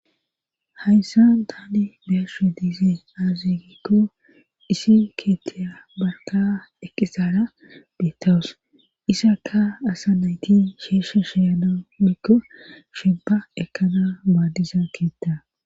Hayssa tani beeshe diizee azzigikko isi keettiya barka eqqisara deettawus isaka asa nayti sheeshe sheyana mikko sheba ekana baadisa keetta